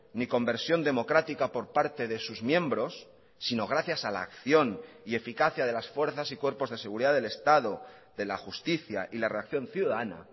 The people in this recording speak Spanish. ni conversión democrática por parte de sus miembros sino gracias a la acción y eficacia de las fuerzas y cuerpos de seguridad del estado de la justicia y la reacción ciudadana